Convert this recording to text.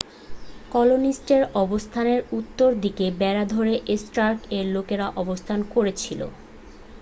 কলনিস্টের অবস্থানের উত্তর দিকের বেড়া ধরে স্টার্ক এর লোকেরা অবস্থান করেছিল